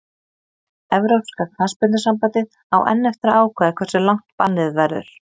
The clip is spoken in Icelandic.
Evrópska knattspyrnusambandið á enn eftir að ákveða hversu langt bannið verður.